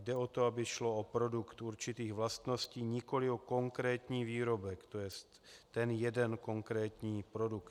Jde o to, aby šlo o produkt určitých vlastností, nikoli o konkrétní výrobek, to je ten jeden konkrétní produkt.